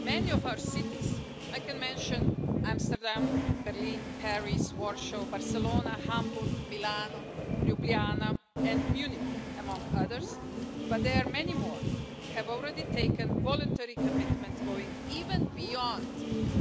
Many of our cities I can mention Amsterdam, Berlin, Paris, Warsaw, Barcelona, Hamburg, Milan, Ljubljana and Munich, among others, but there are many more have already made voluntary commitments, going even beyond